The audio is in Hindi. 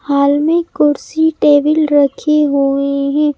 हाल में कुर्सी टेबल रखे हुए हैं।